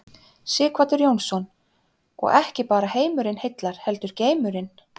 Sighvatur Jónsson: Og ekki bara heimurinn heillar heldur geimurinn?